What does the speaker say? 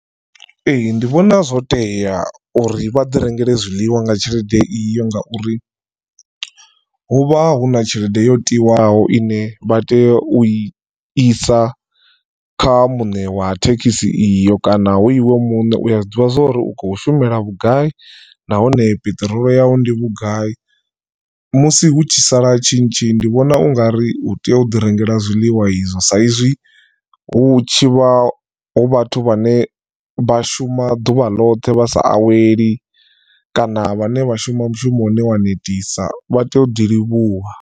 Ee ndi vhona zwo tea uri vha ḓi rengele zwiḽiwa nga tshelede iyo ngauri hu vha hu na tshelede yo tiwaho ine vha tea u i isa kha muṋe wa thekhisi iyo, kana hu iwe muṋe uya zwiḓivha zwori ukho shumela vhugai nahone peṱirolo yau ndi vhugai musi hu tshi sala tshintshi ndi vhona ungari utea uḓi rengela zwiḽiwa izwo sa izwi hu tshivha hu vhathu vhane vha shuma ḓuvha loṱhe vha sa aweli kana vhane vha shuma mushumo une wa netisa vha tea u ḓi livhuwa.